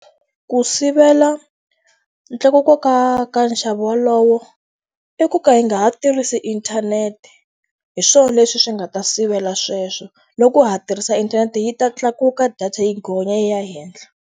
Ku sivela ntlakuko ka ka nxavo wolowo, i ku ka hi nga ha tirhisi inthanete. Hi swona leswi swi nga ta sivela sweswo, loko ha ha tirhisa inthanete yi ta tlakuka data yi gonya yi ya henhla.